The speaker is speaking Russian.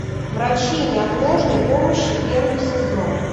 врачи неотложной помощи первый сезон